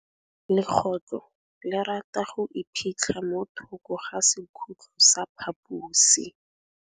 Legôtlô le rata go iphitlha mo thokô ga sekhutlo sa phaposi.